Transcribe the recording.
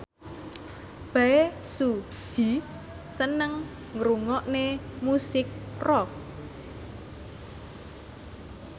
Bae Su Ji seneng ngrungokne musik rock